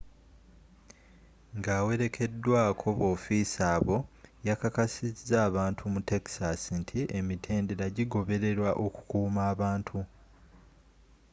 ng'awerekeddwako b'ofiisa abo yakakasiza abantu mu texas nti emitendera gigobererwa okukuuma abantu